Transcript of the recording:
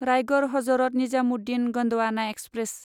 Raigad Hazrat Nizamuddin Gondwana express